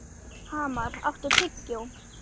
Hamar, áttu tyggjó?